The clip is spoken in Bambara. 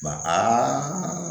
Ba